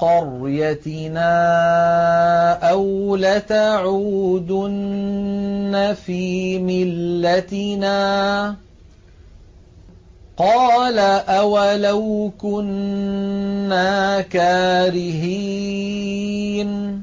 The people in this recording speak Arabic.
قَرْيَتِنَا أَوْ لَتَعُودُنَّ فِي مِلَّتِنَا ۚ قَالَ أَوَلَوْ كُنَّا كَارِهِينَ